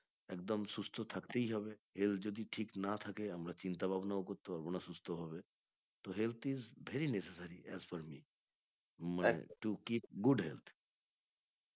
একদম সুস্থ থাকতেই হবে health যদি ঠিক না থাকে আমরা চিন্তা ভাবনাও করতে পারবো না সুস্থ ভাবে তো health is very necessary as per me to keep good health